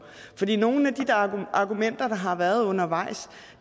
nogle af de argumenter der har været undervejs